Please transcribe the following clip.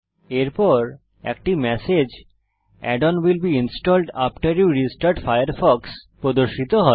এরপর একটি message add on will be installed after you restart Firefox প্রদর্শিত হয়